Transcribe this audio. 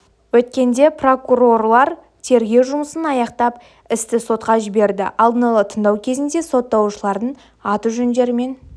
өткенде прокурорлар тергеу жұмысын аяқтап істі сотқа жіберді алдын ала тыңдау кезінде сотталушылардың аты-жөндері мен